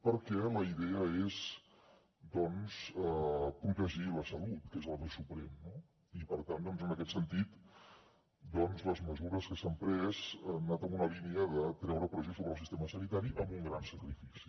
perquè la idea és doncs protegir la salut que és el bé suprem no i per tant en aquest sentit les mesures que s’han pres han anat en la línia de treure pressió sobre el sistema sanitari amb un gran sacrifici